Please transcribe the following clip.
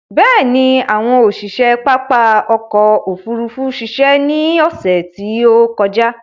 Bẹ̀ẹ̀ni, àwọn òṣiṣe pápá ọkò òfurufú ṣiṣẹ́ ní ọsẹ̀ tí ó kọjá.